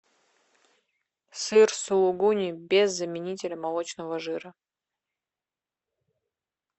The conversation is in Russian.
сыр сулугуни без заменителя молочного жира